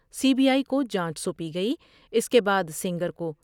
C B I کو جانچ سو نپی گئی اس کے بعد سینگر کو